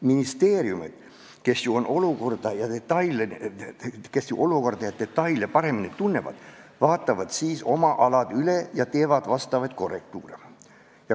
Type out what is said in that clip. Ministeeriumid, kes ju olukorda ja detaile paremini tunnevad, vaatavad siis oma ala üle ja teevad vastavaid korrektiive.